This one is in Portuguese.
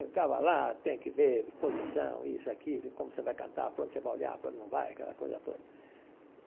Ele ficava lá, tem que ver posição, isso aqui, de como você vai cantar, para onde você vai olhar, para onde não vai, aquela coisa toda.